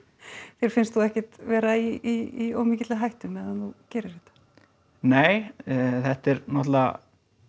þér finnst þú ekkert vera í of mikilli hættu þegar þú gerir þetta nei þetta er náttúrulega